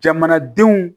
Jamanadenw